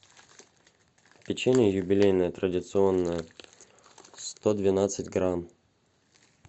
печенье юбилейное традиционное сто двенадцать грамм